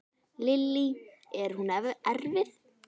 Lillý: Er hún erfið?